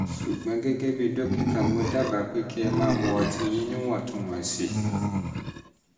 ṣùgbọ́n gẹ́gẹ́ bí dókítà mo dábàá pé pé kí ẹ máa mu ọtí yín níwọ̀ntúnwọ̀nsì